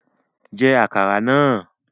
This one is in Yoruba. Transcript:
Jẹ́ àkàrà náà!